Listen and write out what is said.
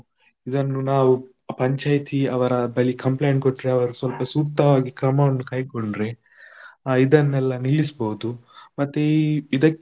ಇದನ್ನು ನಾವು ಪಂಚಾಯತಿ ಅವರ ಬಳಿ complaint ಕೊಟ್ರೆ ಅವರು ಸ್ವಲ್ಪ ಸೂಕ್ತವಾಗಿ ಕ್ರಮವನ್ನು ಕೈಗೊಂಡರೆ, ಅಹ್ ಇದನ್ನೆಲ್ಲ ನಿಲ್ಲಿಸಬಹುದು ಮತ್ತೆ ಈ ಇದಕ್ಕೆ.